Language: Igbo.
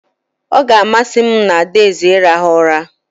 Ọ ga-amasị m mụ na adaeze irahu ụra